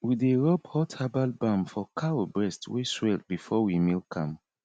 we dey rub hot herbal balm for cow breast wey swell before we milk am